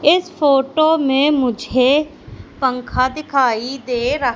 इस फोटो में मुझे पंखा दिखाई दे रहा--